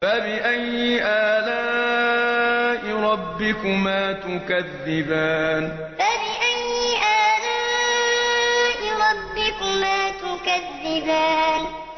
فَبِأَيِّ آلَاءِ رَبِّكُمَا تُكَذِّبَانِ فَبِأَيِّ آلَاءِ رَبِّكُمَا تُكَذِّبَانِ